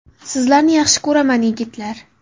Sizlarni yaxshi ko‘raman, yigitlar.